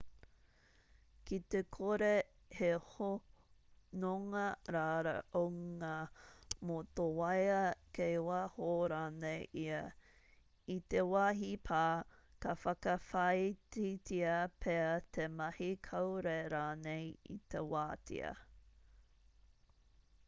ki te kore he hononga raraunga mō tō waea kei waho rānei ia i te wāhi pā ka whakawhāititia pea te mahi kāore rānei i te wātea